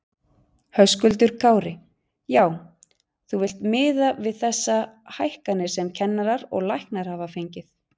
Höskuldur Kári: Já, þú villt miða við þessa hækkanir sem kennarar og læknar hafa fengið?